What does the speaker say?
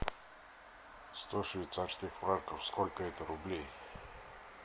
сто швейцарских франков сколько это рублей